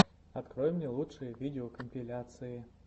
открой мне лучшие видеокомпиляции